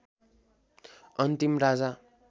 अन्तिम राजा